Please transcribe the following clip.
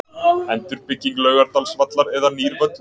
Endurbygging Laugardalsvallar eða nýr völlur?